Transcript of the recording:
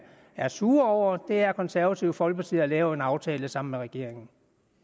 er sur over er at konservative folkeparti har lavet en aftale sammen med regeringen